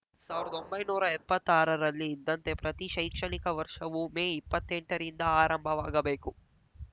ಸಾವಿರ್ದ್ದೊಂಭೈನೂರಾ ಎಪ್ಪತ್ತಾರರಲ್ಲಿ ಇದ್ದಂತೆ ಪ್ರತಿ ಶೈಕ್ಷಣಿಕ ವರ್ಷವೂ ಮೇ ಇಪ್ಪತ್ತೆಂಟ ರಿಂದ ಆರಂಭವಾಗಬೇಕು